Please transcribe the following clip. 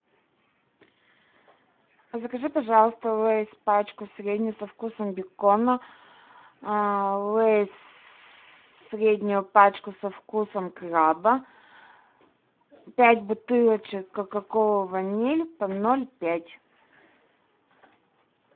закажи пожалуйста лейс пачку среднюю со вкусом бекона лейс среднюю пачку со вкусом краба пять бутылочек кока кола ваниль по ноль пять